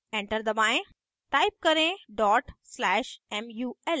enter दबाएं type करें/mul